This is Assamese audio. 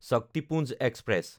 শক্তিপুঞ্জ এক্সপ্ৰেছ